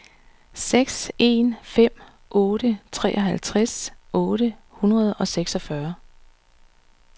seks en fem otte treoghalvtreds otte hundrede og seksogfyrre